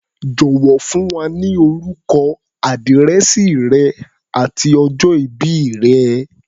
Jọ̀wọ́, fún wa ní orúkọ, àdírẹ̀sì rẹ àti ọjọ ìbí rẹ̀.